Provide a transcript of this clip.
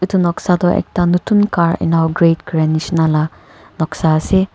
etu noksa toh ekta notun car inograte kori jisna laga noksa ase.